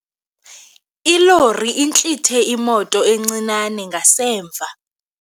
Ilori intlithe imoto encinane ngasemva.